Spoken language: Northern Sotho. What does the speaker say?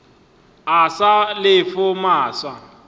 o sa le yo mofsa